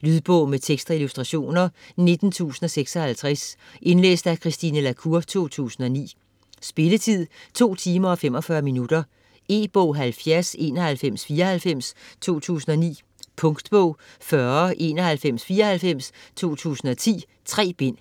Lydbog med tekst og illustrationer 19056 Indlæst af Christine La Cour, 2009. Spilletid: 2 timer, 45 minutter. E-bog 709194 2009. Punktbog 409194 2010. 3 bind.